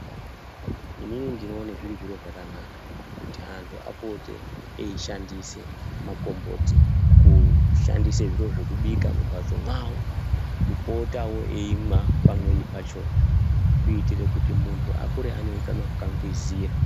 Inini ndinoone zviri zviro zvakanaka kuti antu apote eishandise makomboti. Kushandise zviro zvekubika mumbatso mwawo, kupotawo eimwa pamweni pachona kuitire kuti mundu akure aneutano hwakangwizira.